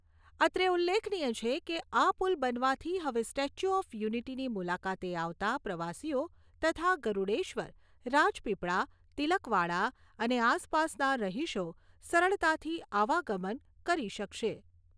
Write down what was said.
અત્રે ઉલ્લેખનીય છે કે, આ પુલ બનવાથી હવે સ્ટેચ્યુ ઓફ યુનિટીની મુલાકાતે આવતાં પ્રવાસીઓ તથા ગરૂડેશ્વર, રાજપીપળા, તિલકવાડા અને આસપાસના રહીશો સરળતાથી આવાગમન કરી શકશે.